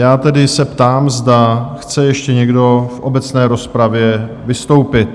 Já se tedy ptám, zda chce ještě někdo v obecné rozpravě vystoupit?